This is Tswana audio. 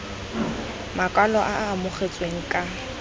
makwalo e e amogetsweng ka